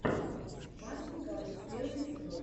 мартин гаррикс первый эпизод